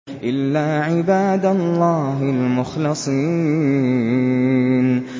إِلَّا عِبَادَ اللَّهِ الْمُخْلَصِينَ